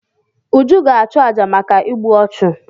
Uju ga-achụ àjà maka igbu ọchụ.